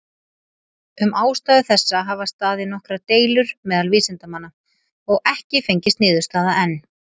Um ástæðu þessa hafa staðið nokkrar deilur meðal vísindamanna, og ekki fengist niðurstaða enn.